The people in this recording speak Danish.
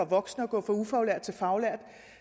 voksen at gå fra ufaglært til faglært